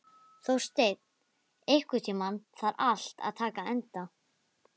Þórsteinn, einhvern tímann þarf allt að taka enda.